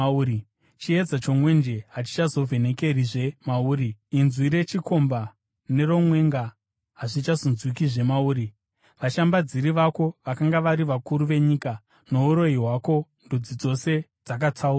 Chiedza chomwenje hachichazovhenekerizve mauri. Inzwi rechikomba neromwenga hazvichazonzwikwazve mauri. Vashambadziri vako vakanga vari vakuru venyika. Nouroyi hwako ndudzi dzose dzakatsauswa.